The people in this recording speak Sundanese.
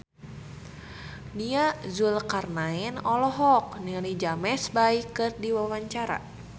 Nia Zulkarnaen olohok ningali James Bay keur diwawancara